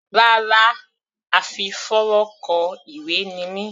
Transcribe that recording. Rárá, a fi fónrán kọ ìwé ni mí.